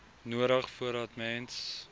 nodig voordat mens